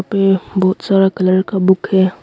पे बहुत सारा कलर का बुक है।